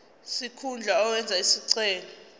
sikhundla owenze isicelo